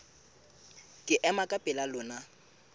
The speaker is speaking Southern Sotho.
ke ema ka pela lona